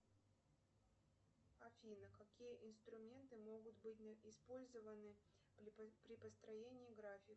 афина какие инструменты могут быть использованы при построении графика